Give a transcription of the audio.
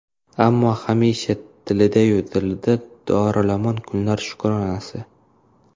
Ammo hamisha tilida-yu dilida dorilamon kunlar shukronasi.